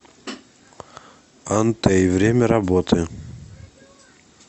антей время работы